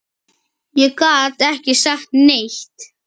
Ég gat ekki sagt neitt.